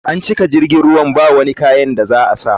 An cika jirgin ruwan bawani kayan da za a sa.